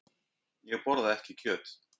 Ég borða ekki kjöt.